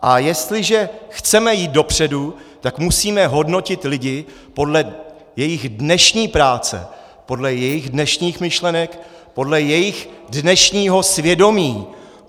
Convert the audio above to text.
A jestliže chceme jít dopředu, tak musíme hodnotit lidi podle jejich dnešní práce, podle jejich dnešních myšlenek, podle jejich dnešního svědomí.